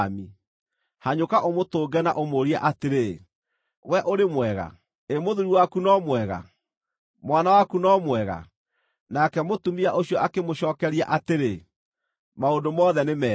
Hanyũka ũmũtũnge na ũmũũrie atĩrĩ, ‘Wee ũrĩ mwega? Ĩ mũthuuri waku no mwega? Mwana waku no mwega?’ ” Nake mũtumia ũcio akĩmũcookeria atĩrĩ, “Maũndũ mothe nĩ mega.”